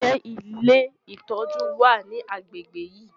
Ǹjẹ́ ilé ìtọ́jú wà ní agbègbè yìí?